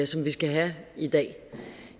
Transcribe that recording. som vi skal have i dag